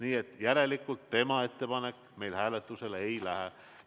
Nii et järelikult tema ettepanek meil hääletusele ei lähe.